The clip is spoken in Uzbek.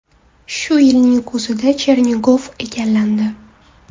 Shu yilning kuzida Chernigov egallandi.